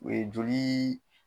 O ye joliii.